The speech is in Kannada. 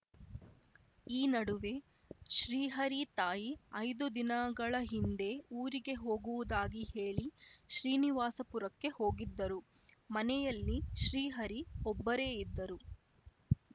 ಈ ನಡುವೆ ಶ್ರೀಹರಿ ತಾಯಿ ಐದು ದಿನಗಳ ಹಿಂದೆ ಊರಿಗೆ ಹೋಗುವುದಾಗಿ ಹೇಳಿ ಶ್ರೀನಿವಾಸಪುರಕ್ಕೆ ಹೋಗಿದ್ದರು ಮನೆಯಲ್ಲಿ ಶ್ರೀಹರಿ ಒಬ್ಬರೇ ಇದ್ದರು